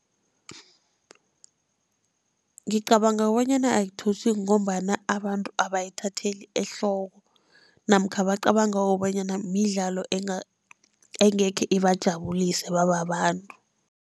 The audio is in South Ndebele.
Ngicabanga bonyana ngombana abantu abayithatheli ehloko, namkha bacabanga bonyana midlalo engekhe ibajabulise bababantu.